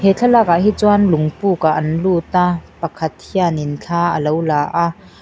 thlalak ah hi chuan lung pûk ah an lut a pakhat hianin thla alo la a.